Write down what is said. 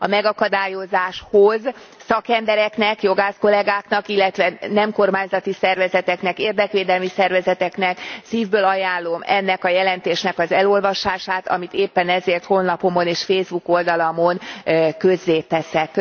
A megakadályozáshoz szakembereknek, jogász kollegáknak, illetve nem kormányzati szervezeteknek, érdekvédelmi szervezeteknek szívből ajánlom ennek a jelentésnek az elolvasását, amit éppen ezért honlapomon és Facebook oldalamon közzéteszek.